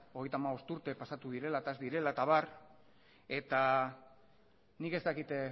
hogeita hamabost urte pasatu direla eta ez direla eta abar eta nik ez dakit